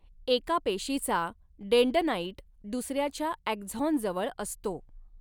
एका पेशीचा डेन्डनाईट दुसऱ्याच्या ॲक्झॉन जवळ असतो.